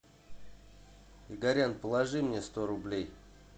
игорян положи мне сто рублей